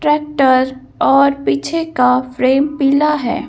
Tractor और पीछे का फ्रेम पीला है।